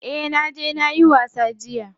Eh naje nayi wasa jiya.